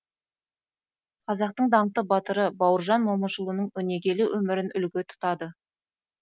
қазақтың даңқты батыры бауыржан момышұлының өнегелі өмірін үлгі тұтады